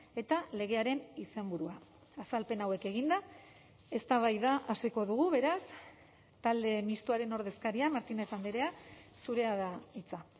eta legearen izenburua azalpen hauek eginda eztabaida hasiko dugu beraz talde mistoaren ordezkaria martínez andrea zurea da hitza